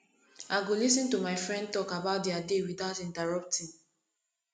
i go lis ten to my friend talk about dia day without interrupting